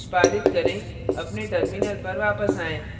निष्पादित करें अपने terminal पर वापस आएँ